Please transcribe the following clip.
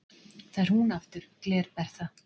Það er hún aftur, Gler-Bertha